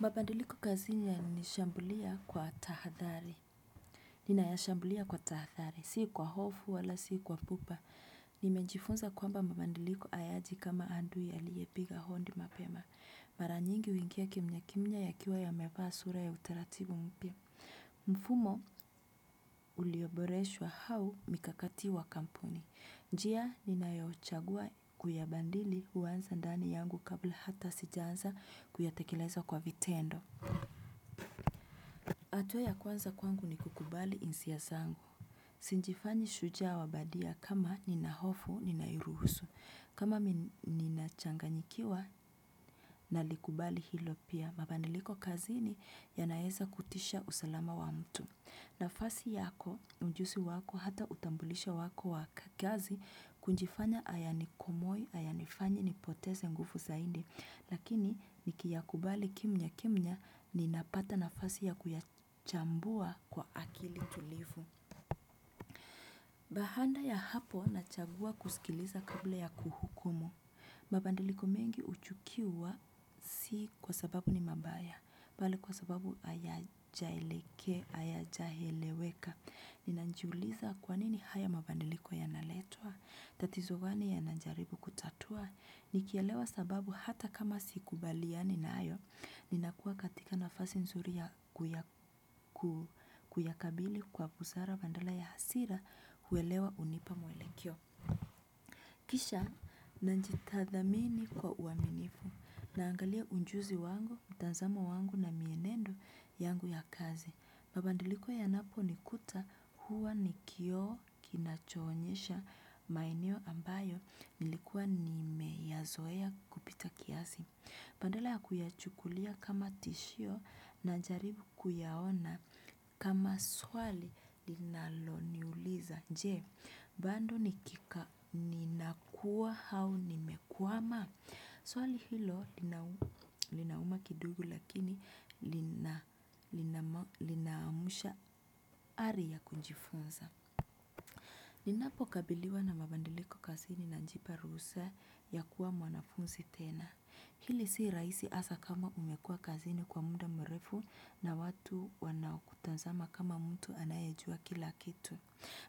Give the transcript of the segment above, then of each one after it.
Mbabadiliko kazini yananishambulia kwa tahathari. Ninayashambulia kwa tahathari, sii kwa hofu wala si kwa pupa. Nimejifunza kwamba mbabadiliko hayaji kama adui aliyepiga hodi mapema. Maranyingi huingia kimya kimya yakiwa yamevaa sura ya utaratibu mpya. Mfumo ulioboreshwa au mikakati wa kampuni. Njia ninayochagua kuyabadili huanza ndani yangu kabla hata sijaanza kuyatekeleza kwa vitendo. Hatua ya kwanza kwangu ni kukubali hisia zangu. Sijifanyi shujaa wabadia kama ninahofu, ninairuhusu. Kama ninachanganyikiwa, nalikubali hilo pia. Mabadiliko kazini ya naeza kutisha usalama wa mtu. Na fasi yako, na ujusi wako hata utambulisho wako wa kazi. Kujifanya hayani komoi, hayani fanyi, nipoteze nguvu zaidi. Lakini nikiya kubali kimya kimya ninapata nafasi ya kuyachambua kwa akili tulivu. Baada ya hapo na chagua kusikiliza kabla ya kuhukumu. Mabadiliko mengi huchukiwa si kwa sababu ni mabaya. Bali kwa sababu hayajaeleke, hayajaeleweka. Ninajiuliza kwanini haya mabadiliko ya naletwa. Tatizogani yana jaribu kutatua. Ni kielewa sababu hata kama sikubaliani nayo, ni nakuwa katika nafasi nzuri ya kuyakabili kwa busara badala ya hasira uelewa hunipa mwelekeo. Kisha na jitathmini kwa uaminifu na angalia ujuzi wangu, mtazamo wangu na mienendo yangu ya kazi. Mabadiliko ya napo nikuta huwa nikioo kinachoonyesha maeneo ambayo nilikuwa nime yazoea kupita kiasi. Badala ya kuyachukulia kama tishio na jaribu kuyaona kama swali linalo niuliza. Je, bado ni kika ninakua au ni mekwama. Swali hilo linauma kidogo lakini linaamusha ari ya kujifunza. Ninapokabiliwa na mabadiliko kazini najipa ruhusa ya kuwa mwanafunzi tena. Hili si rahisi hasa kama umekuwa kazini kwa muda mrefu na watu wanao kutazama kama mtu anayejua kila kitu.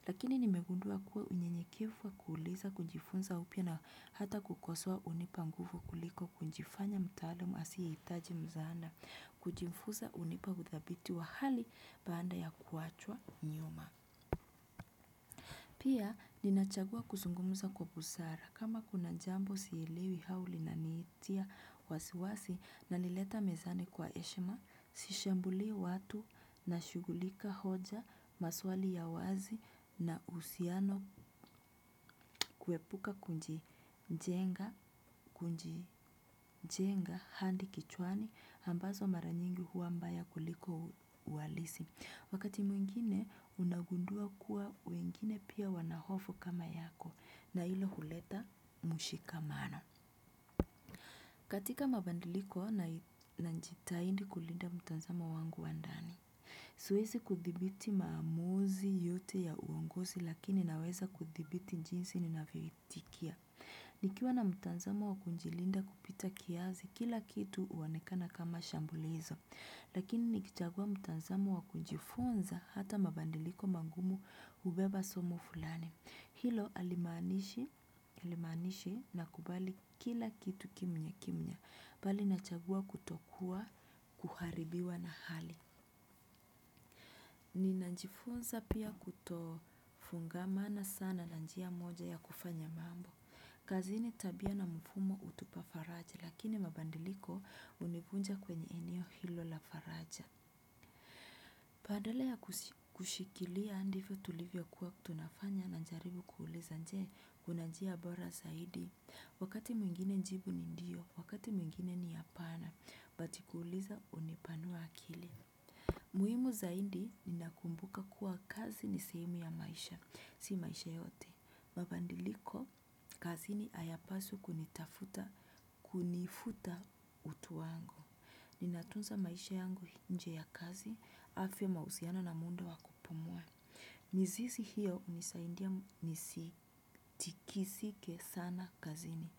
Lakini nimegundua kuwa unyenyekevu wa kuuliza kujifunza au pia na hata kukosoa hunipa nguvu kuliko kujifanya mtaalam asiye hitaji msaada, kujifunza hunipa udhabiti wa hali baada ya kuachwa nyuma. Pia ninachagua kuzungumza kwa busara kama kuna jambo sielewi au lina niitia wasiwasi nalileta mezani kwa heshima, sishambulii watu na shughulika hoja maswali ya wazi na uhusiano kuepuka kujijenga jenga hadi kichwani ambazo mara mingi huwa mbaya kuliko uhalisi. Wakati mwingine unagundua kuwa wengine pia wanahofu kama yako na hilo huleta mshikamano. Katika mabadiliko na jitahidi kulinda mtazamo wangu wandani. Siwezi kudhibiti maamuzi yote ya uongozi lakini naweza kudhibiti jinsi ni navyoitikia. Nikiwa na mtanzamo wakujilinda kupita kiasi kila kitu huonekana kama shambulizo. Lakini ni kichagua mtazamo wa kujifunza hata mabadiliko mangumu hubeba somo fulani. Hilo halimaanishi na kubali kila kitu kimya kimya. Bali nachagua kutokuwa kuharibiwa na hali. Ni na njifunza pia kutofungamana sana na njia moja ya kufanya mambo. Kazini tabia na mfumo hutupa faraja lakini mabadiliko hunivunja kwenye eneo hilo la faraja badala ya kushikilia ndivyo tulivyo kuwa tunafanya na jaribu kuuliza je kuna njia bora zaidi. Wakati mwingine jibu ni ndio, wakati mwingine ni hapana, but kuuliza hunipanua akili. Muhimu zaidi ni nakumbuka kuwa kazi ni sehemu ya maisha, si maisha yote. Mabadiliko kazini hayapaswi kunifuta utu wangu. Ninatunza maisha yangu nje ya kazi, afya mahusiano na muda wa kupumua. Mizizi hiyo hunisaidia nisi tiki sike sana kazini.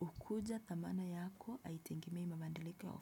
Hukuja dhamana yako haitegemei mabadiliko.